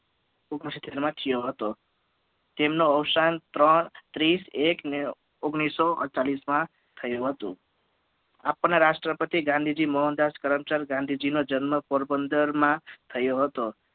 માં થયો હતો તેમનું અવસાન ત્રણ ત્રીસ એક અને ઓગણીસો ચાલીસ માં થયું હતું આપણા રાષ્ટ્રપતિ ગાંધીજી મોહનદાસ કરમચંદ ગાંધીજી નો જન્મ પોરબંદર માં થયો હત